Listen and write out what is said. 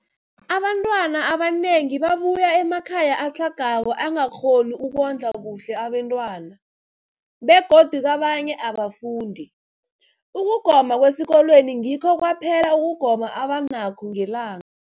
Abantwana abanengi babuya emakhaya atlhagako angakghoni ukondla kuhle abentwana, begodu kabanye abafundi, ukugoma kwesikolweni ngikho kwaphela ukugoma abanakho ngelang